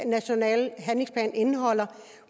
nationale handlingsplan indeholder